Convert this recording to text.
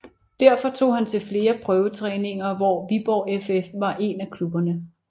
Derfor tog han til flere prøvetræninger hvor Viborg FF var en af klubberne